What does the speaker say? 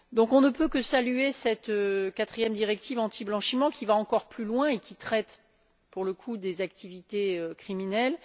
Nous ne pouvons donc que saluer cette quatrième directive antiblanchiment qui va encore plus loin et qui traite, pour le coup, des activités criminelles.